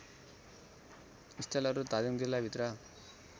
स्थलहरू धादिङ जिल्लाभित्र